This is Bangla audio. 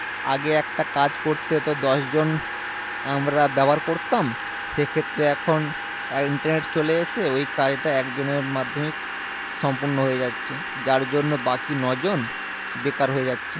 আগে একটা কাজ করতে হতো দশ জন আমরা ব্যবহার করতাম সেক্ষেত্রে এখন internet চলে এসে ওই কাজটা একজনের মাধ্যমেই সম্পূর্ণ হয়ে যাচ্ছে যার জন্য বাকি নয় জন বেকার হয়ে যাচ্ছে